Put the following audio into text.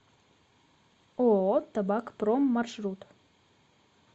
ооо табакпром маршрут